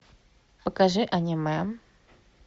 покажи аниме